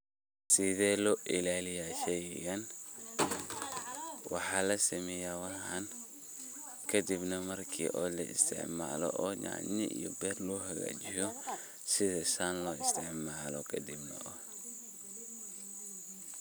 Sithe loilaliya sheygan, waxaa lasameya waxaan, kadibnah marki laisticmalo o nyanya iyo ber logu xagajiyo, sithi San loisticmalo kadib.